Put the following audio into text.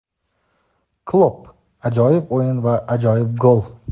Klopp: Ajoyib o‘yin va ajoyib gol.